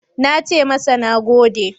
Na ce masa "Na gode."